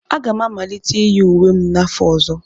Aga m amalite iyi uwe m n'afọ ọzọ.